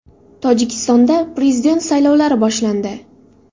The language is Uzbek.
Tojikistonda prezident saylovlari boshlandi.